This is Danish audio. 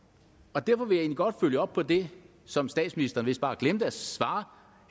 derfor vil jeg godt følge op på det som statsministeren vist bare glemte at svare